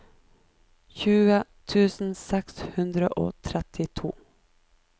tjue tusen seks hundre og trettito